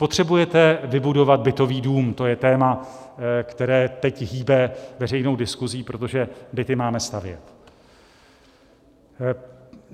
Potřebujete vybudovat bytový dům, to je téma, které teď hýbe veřejnou diskuzí, protože byty máme stavět.